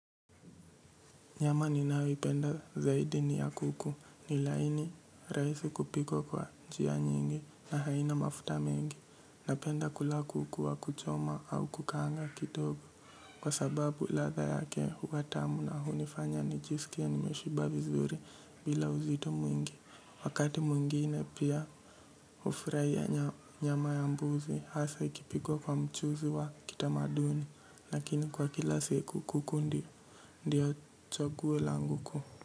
Nyama ninayoipenda zaidi ni ya kuku. Ni laini, rahisi kupikwa kwa njia nyingi na haina mafuta mengi. Napenda kula kuku wa kuchoma au kukaanga kidogo kwa sababu ladha yake huwa tamu na hunifanya nijisikie nimeshiba vizuri bila uzito mwingi. Wakati mwingine pia hufurahia nyama ya mbuzi hasa ikipikwa kwa mchuzi wa kitamaduni. Lakini kwa kila siku kuku ndi, ndiyo chaguo langu kuu.